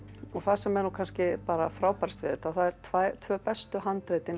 og það sem er nú kannski frábærast við þetta að það eru tvö tvö bestu handritin